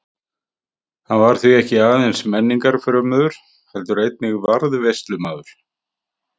Hann var því ekki aðeins menningarfrömuður heldur einnig varðveislumaður.